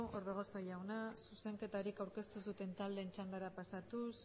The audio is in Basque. orbegozo jauna zuzenketarik aurkeztu ez duten taldeen txandara pasatuz